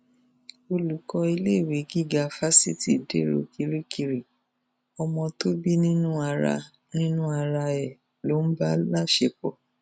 olùkọ iléèwé gíga fásitì dèrò kirikiri ọmọ tó bí nínú ara nínú ara ẹ ló ń bá láṣẹpọ